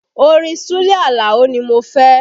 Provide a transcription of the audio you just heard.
Orin Sule Alao ni mo fẹ́